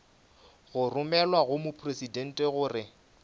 go romelwa go mopresidente gore